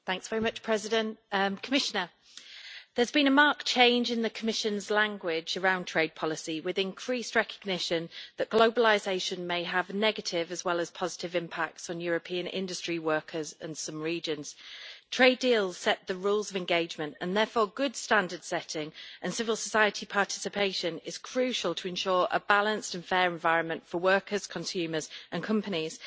Mr President, there has been a marked change in the Commission's language around trade policy, with increased recognition that globalisation may have negative, as well as positive, impacts on European industry workers in some regions. Trade deals set the rules of engagement, and therefore good standard-setting and civil society participation is crucial to ensure a balanced and fair environment for workers, consumers and companies.